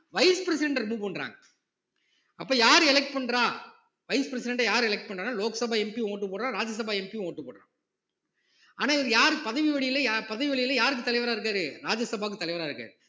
vice president அ remove பண்றாங்க அப்ப யாரு elect பண்றா vice president அ யாரு elect பண்றான்னா லோக்சபா MP யும் vote டு போடுறான் ராஜ்ய சபா MP யும் vote டு போடுறான் ஆனா இவரு யாரு பதவி வழியில யார் பதவி வழியில யாருக்கு தலைவரா இருக்காரு ராஜ்ய சபாக்கு தலைவரா இருக்காரு